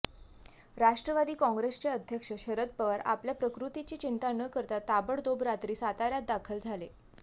राष्ट्रवादी काँग्रेसचे अध्यक्ष शरद पवार आपल्या प्रकृतीची चिंता न करता ताबोडतोब रात्री साताऱ्यात दाखल झाले